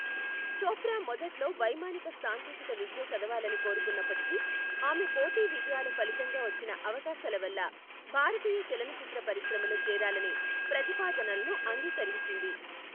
చోప్రా మొదట్లో వైమానిక సాంకేతిక విద్య చదవాలని కోరుకున్నప్పటికీ, ఆమె పోటీ విజయాల ఫలితంగా వచ్చిన అవకాశాల వల్ల భారతీయ చలనచిత్ర పరిశ్రమలో చేరాలనే ప్రతిపాదనలను అంగీకరించింది.